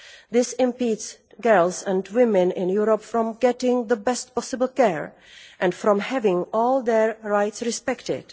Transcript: This impedes girls and women in Europe from getting the best possible care and from having all their rights respected.